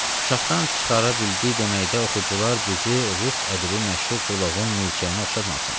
Çapdan çıxara bildi deməkdə oxucular bizi rus ədəbi məşhur Krılovun milçəyinə oxşatmasın.